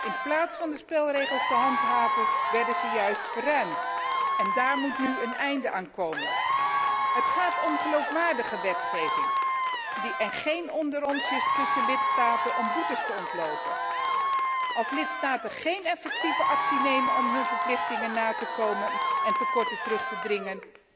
In plaats van de spelregels te handhaven, werden ze juist verruimd en daaraan moet nu een einde komen. Het gaat om geloofwaardige wetgeving en geen onderonsjes tussen lidstaten om boetes te ontlopen. Als lidstaten geen effectieve actie nemen om hun verplichtingen na te komen en tekorten terug te dringen